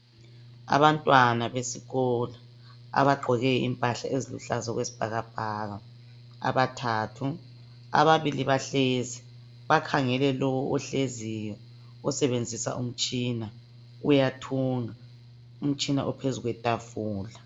Abantwana besikolo abagqkoke impahla eziluhlaza okwesibhakabhaka abathathu. Ababili bahlezi bakhangele lo ohleziyo osebenzisa umtshina. Uyathunga. Umtshina uphezu kwetafula.